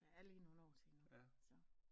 Der er lige nogle år til endnu så